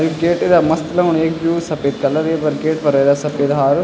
यु gate इथा मस्त लगणु एक त यु सपेद कलर येफर गेट फर जरा सपेद हारो --